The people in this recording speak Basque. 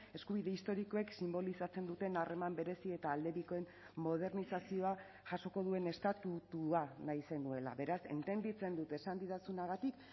eskubide historikoek sinbolizatzen duten harreman berezi eta aldebikoen modernizazioa jasoko duen estatutua nahi zenuela beraz entenditzen dut esan didazunagatik